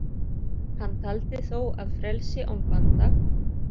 Hann taldi þó að frelsi án banda.